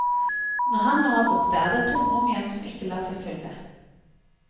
Når han nå er borte, er det et tomrom igjen som ikke lar seg fylle.